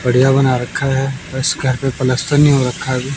बड़ीहा बना रखा है बस घर पे पलस्तर नही हो रखा है अभी--